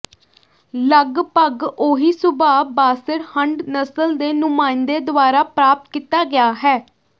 ਲਗਭਗ ਉਹੀ ਸੁਭਾਅ ਬਾਸੈਟ ਹੰਡ ਨਸਲ ਦੇ ਨੁਮਾਇੰਦੇ ਦੁਆਰਾ ਪ੍ਰਾਪਤ ਕੀਤਾ ਗਿਆ ਹੈ